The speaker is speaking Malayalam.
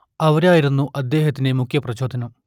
അവരായിരുന്നു അദ്ദേഹത്തിന്റെ മുഖ്യപ്രചോദനം